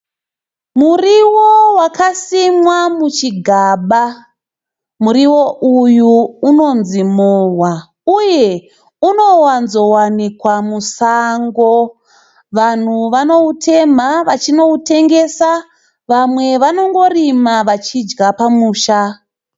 Muriwo wakasimwa muchigaba, muriwo uyu unonzi mowa uye unowanzo wanikwa musango. Vanhu vanoutemha vachitengesa vamwe vanongorima vachidya pamusha.